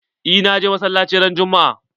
Eh na je masallaci ran juma'a.